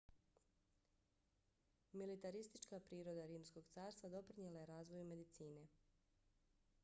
militaristička priroda rimskog carstva doprinijela je razvoju medicine